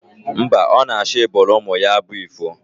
Mba, ọ na-achọ ịbụụrụ ụmụ ya abụ ifo